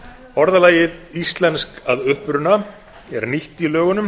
orðalagið íslensk að uppruna er nýtt í lögunum